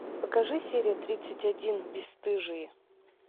покажи серия тридцать один бесстыжие